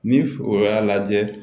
Ni o y'a lajɛ